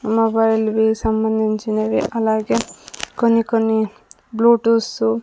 Mobile కి సంబంధించినవి అలాగే కొన్ని కొన్ని బ్లూటూస్ .